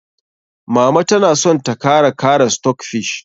Mama ta na son ta kara kara stockfish.